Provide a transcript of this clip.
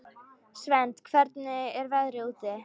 Svend, hvernig er veðrið úti?